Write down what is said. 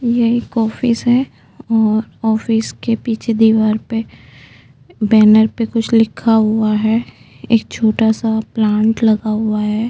ये एक ऑफिस है और ऑफिस के पीछे दीवार पे बैनर पे कुछ लिखा हुआ है एक छोटा सा प्लांट लगा हुआ है।